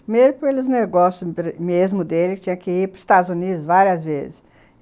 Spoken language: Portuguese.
Primeiro pelos negócios mesmo dele, que tinha que ir para os Estados Unidos várias vezes.